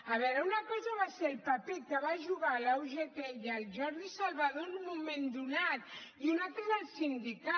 a veure una cosa va ser el paper que va jugar la ugt i el jordi salvador en un moment donat i una altra és el sindicat